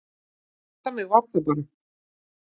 Þannig að við bara.